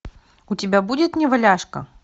у тебя будет неваляшка